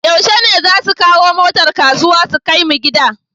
Yushe ne zasu kawo motar kasuwa su kai mu gida?